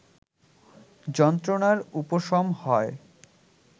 যন্ত্রণার উপশম হয়